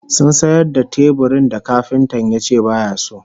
Sun sayar da teburin da kafintan yace baya so